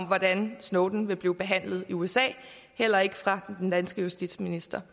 hvordan snowden vil blive behandlet i usa heller ikke fra den danske justitsminister